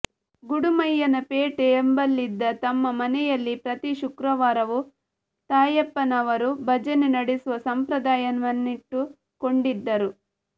ಗುಡುಮಯ್ಯನ ಪೇಟೆ ಎಂಬಲ್ಲಿದ್ದ ತಮ್ಮ ಮನೆಯಲ್ಲಿ ಪ್ರತಿ ಶುಕ್ರವಾರವೂ ತಾಯಪ್ಪನವರು ಭಜನೆ ನಡೆಸುವ ಸಂಪ್ರದಾಯವನ್ನಿಟ್ಟು ಕೊಂಡಿದ್ದರು